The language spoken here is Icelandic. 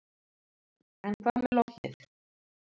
En hvað með lognið.